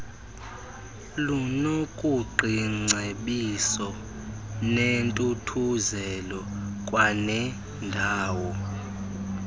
lunokuqiingcebiso nentuthuzelo kwanendawo